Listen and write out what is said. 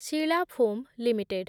Sheela foam limited